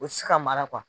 U ti se ka mara